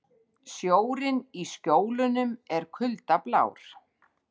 Sjórinn í Skjólunum er kuldablár.